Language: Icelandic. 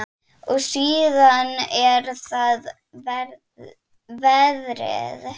Og síðan er það veðrið.